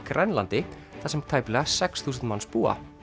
Grænlandi þar sem tæplega sex þúsund manns búa